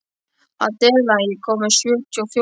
Adela, ég kom með sjötíu og fjórar húfur!